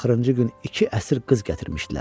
Axırıncı gün iki əsir qız gətirmişdilər.